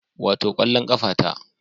Wato kwallon kafa ta